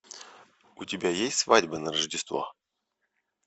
у тебя есть свадьба на рождество